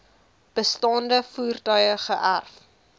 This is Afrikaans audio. bestaande voertuie geërf